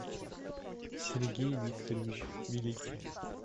сергей викторович великий